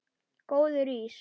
Góður ís?